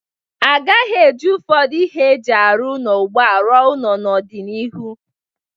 Agaghị eji ụfọdụ ihe e ji arụ ụnọ ugbu a rụọ ụnọ n'ọ dị n'iru.